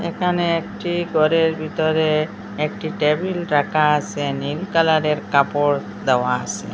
এখানে একটি ঘরের ভিতরে একটি টেবিল রাখা আছে নীল কালারের কাপড় দেওয়া আছে।